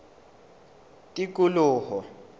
tikoloho